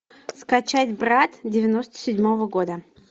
скачать брат девяносто седьмого года